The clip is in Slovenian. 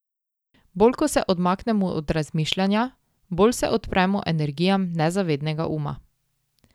Bolj ko se odmaknemo od razmišljanja, bolj se odpremo energijam nezavednega uma.